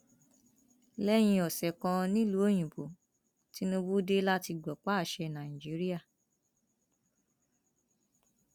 lẹyìn ọsẹ kan nìlùú òyìnbó tìǹbù dé láti gbọpá àṣẹ nàíjíríà